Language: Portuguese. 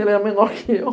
Ele era menor que eu.